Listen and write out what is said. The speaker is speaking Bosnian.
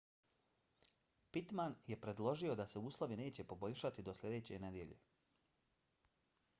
pittman je predložio da se uslovi neće poboljšati do sljedeće nedjelje